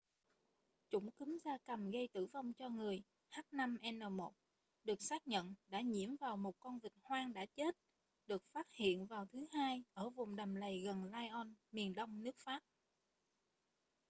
chủng cúm gia cầm gây tử vong cho người h5n1 được xác nhận đã nhiễm vào một con vịt hoang đã chết được phát hiện vào thứ hai ở vùng đầm lầy gần lyon miền đông nước pháp